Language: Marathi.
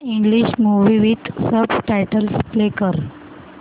English movie with subtitles play कर